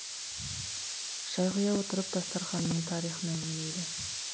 шай құя отырып дастарқанның тарихын әңгімелейді